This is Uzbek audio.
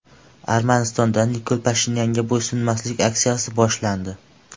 Armanistonda Nikol Pashinyanga bo‘ysunmaslik aksiyasi boshlandi.